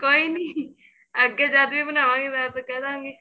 ਕੋਈ ਨੀਂ ਅੱਗੇ ਅਜੇ ਕੇ ਬਣਾਵਾ ਗਈ ਮੈਂ ਫੇਰ ਕਹਿ ਦਾ ਗੀ